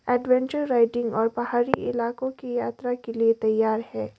Adventure riding और पहाड़ी इलाकों के यात्रा के लिए तैयार है।